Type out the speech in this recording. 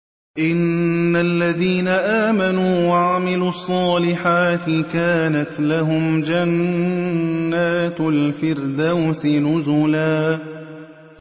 إِنَّ الَّذِينَ آمَنُوا وَعَمِلُوا الصَّالِحَاتِ كَانَتْ لَهُمْ جَنَّاتُ الْفِرْدَوْسِ نُزُلًا